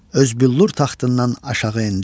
Öz büllur taxtından aşağı endi.